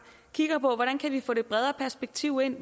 kigger på hvordan vi kan få det bredere perspektiv ind